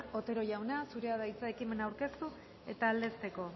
otero jauna zurea da hitza ekimena aurkeztu eta aldezteko